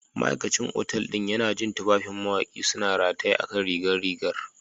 Ma'aikacin otal ɗin yana jin tufafin Mawaƙi suna rataye a kan rigar rigar